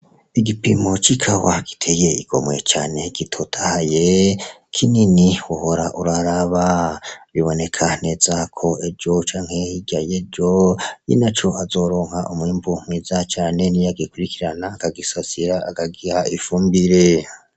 Igipimo c'ikawa giteye igomwe cane, gitotahaye kinini wohora uraraba. Biboneka neza ko ejo canke hirya y'ejo, nyeneco azoronka umwimbu mwiza cane niya gikurikirana, akagisasira akagiha ifumbire.